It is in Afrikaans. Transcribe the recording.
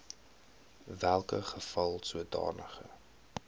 welke geval sodanige